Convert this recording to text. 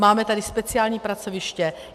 Máme tady speciální pracoviště.